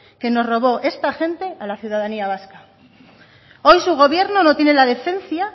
que nos robó esta gente a la ciudadanía vasca hoy su gobierno no tiene la decencia